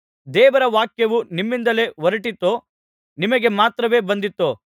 ದೇವರ ವಾಕ್ಯವು ನಿಮ್ಮಿಂದಲೇ ಹೊರಟಿತೋ ನಿಮಗೆ ಮಾತ್ರವೇ ಬಂದಿತೋ